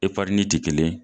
ti kelen ye.